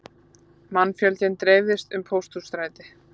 Mannfjöldinn dreifðist um Pósthússtræti